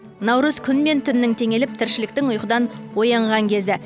наурыз күн мен түннің теңеліп тіршіліктің ұйқыдан оянған кезі